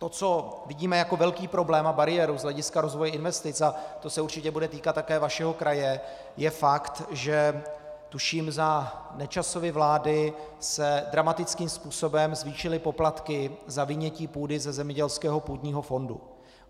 To, co vidíme jako velký problém a bariéru z hlediska rozvoje investic, a to se určitě bude týkat také vašeho kraje, je fakt, že tuším za Nečasovy vlády se dramatickým způsobem zvýšily poplatky za vynětí půdy ze zemědělského půdního fondu.